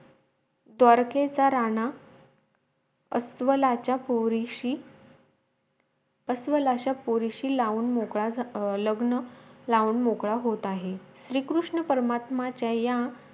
द्वारकेचा राणा अस्वलाचा पोरीशी अस्वलाच्या पोरीशी लावून मोकळा लग्न लावून मोकळा होत आहे श्री कृष्णा परमात्माचा या